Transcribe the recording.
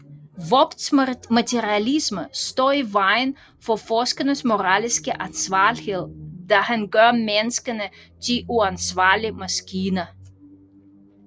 Vogts materialisme står i vejen for forskerens moralske ansvarlighed da han gør menneskene til uansvarlige maskiner